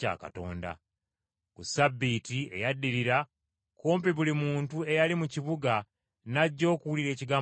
Ku Ssabbiiti eyaddirira kumpi buli muntu eyali mu kibuga n’ajja okuwulira ekigambo kya Katonda.